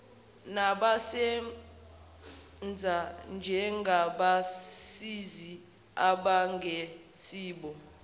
nabasebenza njengabasizi abangesibo